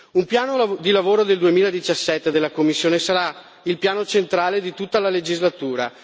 Il piano di lavoro del 2017 della Commissione sarà il piano centrale di tutta la legislatura.